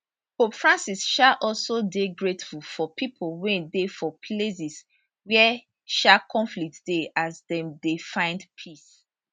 pope francis um also dey grateful for pipo wey dey for places wia um conflict dey as dem dey find peace